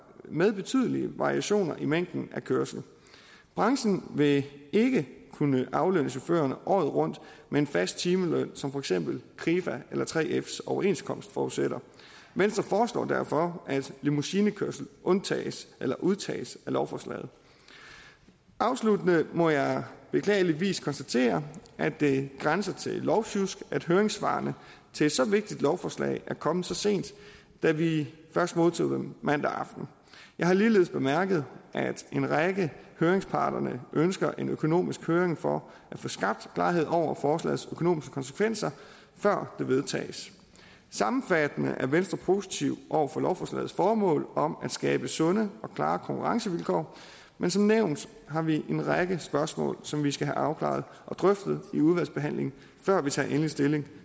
med betydelige variationer i mængden af kørsel branchen vil ikke kunne aflønne chaufførerne året rundt med en fast timeløn som for eksempel krifas eller 3fs overenskomst forudsætter venstre foreslår derfor at limousinekørsel undtages eller udtages af lovforslaget afsluttende må jeg beklageligvis konstatere at det grænser til lovsjusk at høringssvarene til så vigtigt et lovforslag er kommet så sent da vi først modtog dem mandag aften jeg har ligeledes bemærket at en række af høringsparterne ønsker en økonomisk høring for at få skabt klarhed over forslagets økonomiske konsekvenser før det vedtages sammenfattende er venstre positiv over for lovforslagets formål om at skabe sunde og klare konkurrencevilkår men som nævnt har vi en række spørgsmål som vi skal have afklaret og drøftet i udvalgsbehandlingen før vi tager endelig stilling